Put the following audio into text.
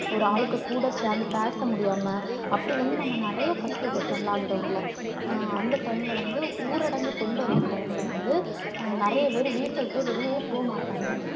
ஒரு ஆளுக்கு கூட சேர்ந்து பேச முடியாம, அப்படி வந்து நம்ம நிறைய கஷ்டப்பட்டோம் lockdown ல. அந்த time ல வந்து ஊரடங்கு கொண்டு வந்த time ல வந்து நெறைய பேரு வீட்டை விட்டு வெளியேவே போகமாட்டாங்க.